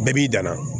Bɛɛ b'i dan na